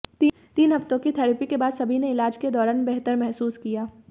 तीन हफ्तों की थैरेपी के बाद सभी ने इलाज के दौरान बेहतर महसूस किया